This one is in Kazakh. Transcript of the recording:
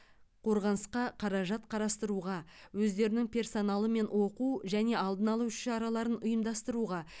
қорғанысқа қаражат қарастыруға өздерінің персоналымен оқу және алдын алу іс шараларын ұйымдастыруға